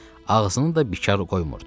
Ağzını da bikar qoymurdu.